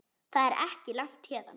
Það er ekki langt héðan.